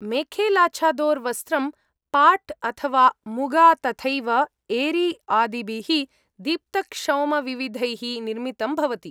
मेखेलाछादोर् वस्त्रं पाट् अथवा मुगा तथैव एरी आदिभिः दीप्तक्षौमविविधैः निर्मितं भवति।